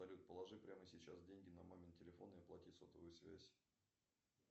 салют положи прямо сейчас деньги на мамин телефон и оплати сотовую связь